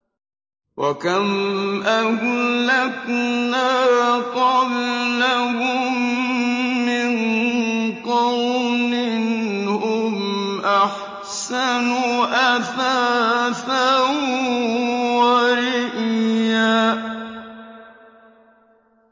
وَكَمْ أَهْلَكْنَا قَبْلَهُم مِّن قَرْنٍ هُمْ أَحْسَنُ أَثَاثًا وَرِئْيًا